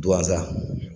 Duwanza